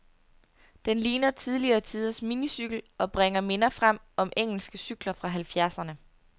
Den ligner tidligere tiders minicykel, og bringer minder frem om engelske cykler fra halvfjerdserne.